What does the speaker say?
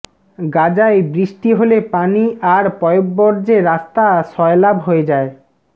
গাজায় বৃষ্টি হলে পানি আর পয়োবর্জ্যে রাস্তা সয়লাব হয়ে যায়